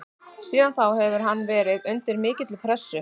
Síðan þá hefur hann verið undir mikilli pressu.